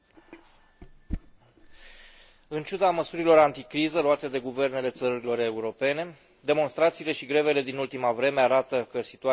În ciuda măsurilor anticriză luate de guvernele țărilor europene, demonstrațiile și grevele din ultima vreme arată că situația este încă departe de a se îmbunătăți.